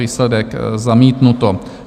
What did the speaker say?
Výsledek: zamítnuto.